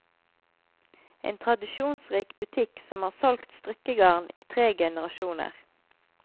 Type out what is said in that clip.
En tradisjonsrik butikk som har solgt strikkegarn i tre generasjoner.